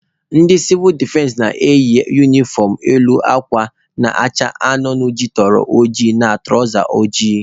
Ndị sivụl defense na-eyi unifọm elu akwa ya na-acha anụnụ jituru oji na tụrawza ojii.